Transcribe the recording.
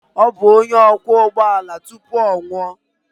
Ọ bụ onye ọkwọ ụgbọ ala tupu ọ nwụọ.